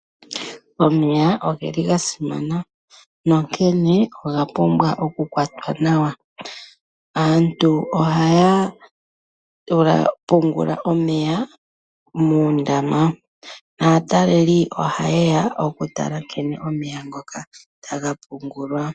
Omeya oge li ga simana, nonkene oga pumbwa oku kwatwa nawa. Aantu ohaya pungula omeya muundama ,naataleli oha ye ya oku tala omeya ngoka nkene ta ga pungulwa.